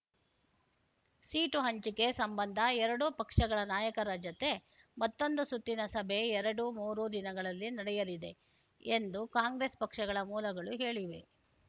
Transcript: seat ಹಂಚಿಕೆ ಸಂಬಂಧ ಎರಡೂ ಪಕ್ಷಗಳ ನಾಯಕರ ಜತೆ ಮತ್ತೊಂದು ಸುತ್ತಿನ ಸಭೆ ಎರಡುಮೂರು ದಿನಗಳಲ್ಲಿ ನಡೆಯಲಿದೆ ಎಂದು ಕಾಂಗ್ರೆಸ್ ಪಕ್ಷಗಳ ಮೂಲಗಳು ಹೇಳಿವೆ